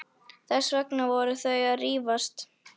Þess vegna voru þau að rífast.